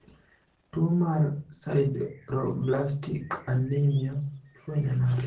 Tuo mar sideroblastic anemia ifwenyo nade?